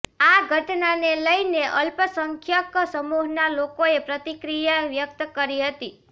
આ ઘટનાને લઈને અલ્પસંખ્યક સમૂહના લોકોએ પ્રતિક્રિયા વ્યક્ત કરી હતી